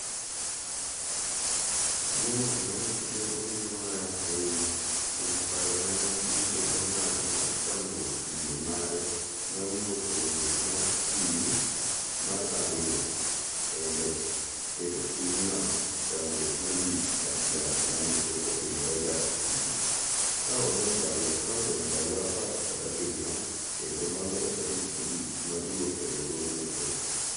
May nowacho ni owinjo marach ahinya kuom paro ma ne bunge ne ong'ado mar tamruok yie mare mar wuok e riwruok mar EU mar ariyo endo keto pinyno e chandruok malich mar siasa ma ne pok otimore ga e pinyno, ka odong' ndalo apar kod abirio kendo mondo tarik mogik mar wuok e riwruogno ochopi.